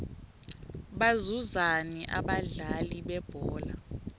bazuzani abadlali bebhola